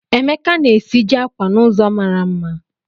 Emeka na-esiji akwa n'ụzọ mara mma